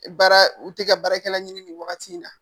Baara u tɛ ka baarakɛla ɲini nin wagati in na